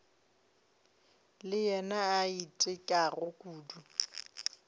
le yena a itekago kudu